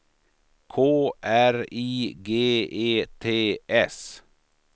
K R I G E T S